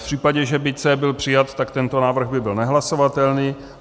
V případě, že by C byl přijat, tak tento návrh by byl nehlasovatelný.